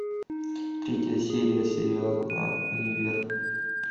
третья серия сериала универ